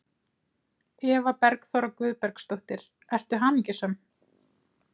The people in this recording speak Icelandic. Eva Bergþóra Guðbergsdóttir: Ertu hamingjusöm?